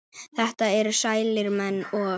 þetta eru sælir menn og